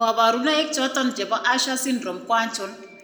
kabarunaik choton chebo Usher syndrome ko achon?